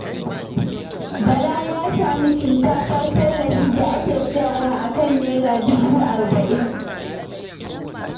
Bala ya sami shinkafar tallafi da ake siyarwa a kan Naira dubu arba'in.